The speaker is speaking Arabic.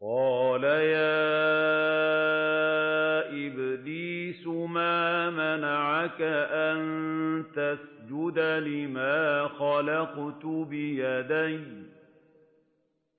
قَالَ يَا إِبْلِيسُ مَا مَنَعَكَ أَن تَسْجُدَ لِمَا خَلَقْتُ بِيَدَيَّ ۖ